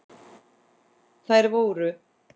Þær voru